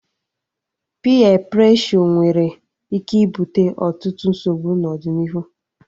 Piyee preshọ nweere ike ibute ọtụtụ nsogbu n'ọdịnihu